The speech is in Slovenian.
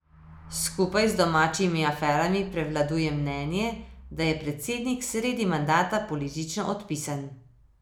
Skupaj z domačimi aferami prevladuje mnenje, da je predsednik sredi mandata politično odpisan.